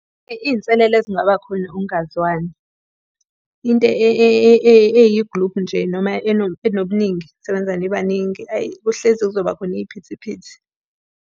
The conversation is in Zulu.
Iy'nselelo ezingaba khona ukungazwani. Into eyigiluphu nje noma enobuningi nisebenza nibaningi, hhayi kuhlezi kuzoba khona iy'phithiphithi.